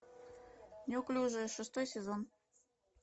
неуклюжие шестой сезон